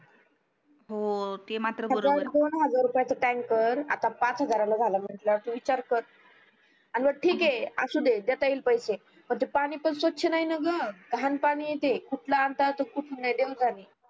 हजार दोन हजार रुपयाचा ट tanker आता पाच हजारला झालाय म्हटलावर तू विचार कर अन मग ठीक ये असू दे देता येईल पैसे ते पानी पण स्वछ नाही ना ग घाण पानी आहे ते कुठं आणतात अन कुठंन नाही देव जाणे